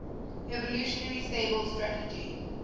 evolutionarily stable strategy